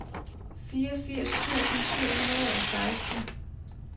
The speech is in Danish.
fireogfirs tusind syv hundrede og seksten